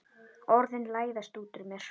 Orðin læðast út úr mér.